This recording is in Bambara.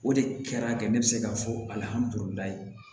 O de kɛra ka ne bɛ se k'a fɔ